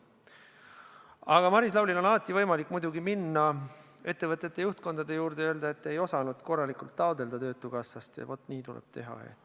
Aga Maris Lauril on muidugi alati võimalik minna ettevõtete juhtkondade juurde ja öelda, et te ei osanud korralikult taotleda töötukassast toetust ja vaat nii tuleb teha.